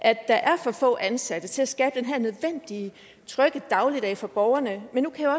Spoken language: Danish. er for få ansatte til at skabe den her trygge dagligdag er for borgerne men nu kan